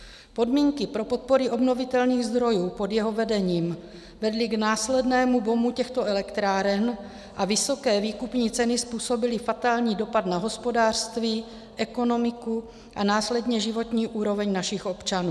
Podmínky pro podpory obnovitelných zdrojů pod jeho vedením vedly k následnému boomu těchto elektráren a vysoké výkupní ceny způsobily fatální dopad na hospodářství, ekonomiku a následně životní úroveň našich občanů.